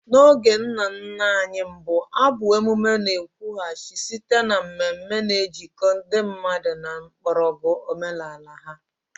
N'oge ndị nna nna anyị mbụ, abụ emume na-ekwughachi site na mmeme, na-ejikọta ndị mmadụ na mgbọrọgwụ omenala ha.